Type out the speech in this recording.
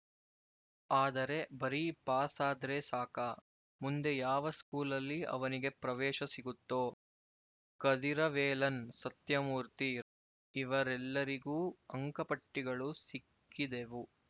ಆದರೆ ಬರೀ ಪಾಸಾದ್ರೆ ಸಾಕಾ ಮುಂದೆ ಯಾವ ಸ್ಕೂಲಲ್ಲಿ ಅವನಿಗೆ ಪ್ರವೇಶ ಸಿಗುತ್ತೋ ಕದಿರವೇಲನ್ ಸತ್ಯಮೂರ್ತಿ ಇವರೆಲ್ಲರಿಗೂ ಅಂಕಪಟ್ಟಿಗಳು ಸಿಕ್ಕಿದೆವು